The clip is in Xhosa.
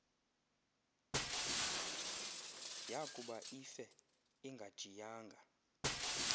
yakuba ife ingajiyanga